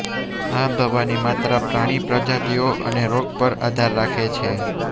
આ દવાની માત્રા પ્રાણી પ્રજાતિઓ અને રોગ પર આધાર રાખે છે